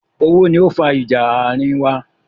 Owó ni ó fa ìjà àárín wa.